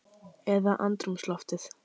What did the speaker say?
Eða andrúmsloftið?